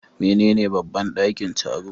Menene babban ɗakin taro?